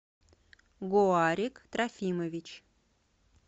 гоарик трофимович